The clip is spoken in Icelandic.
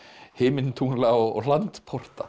himintungla og